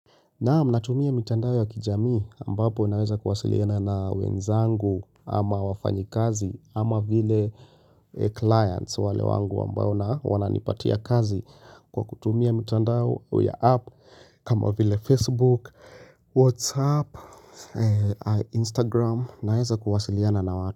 Naam natumia mitandao ya kijamii ambapo naweza kuwasiliana na wenzangu ama wafanyikazi ama vile clients wale wangu ambao wananipatia kazi kwa kutumia mitandao ya app kama vile Facebook, WhatsApp, Instagram naweza kuwasiliana na watu.